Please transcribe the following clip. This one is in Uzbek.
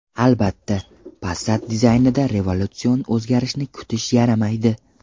Albatta, Passat dizaynida revolyutsion o‘zgarishni kutish yaramaydi.